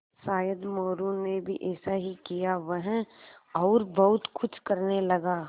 शायद मोरू ने भी ऐसा ही किया वह और बहुत कुछ करने लगा